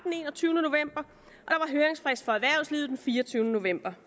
høringsfrist for erhvervslivet den fireogtyvende november